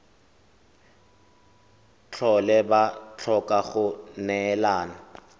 tlhole ba tlhoka go neelana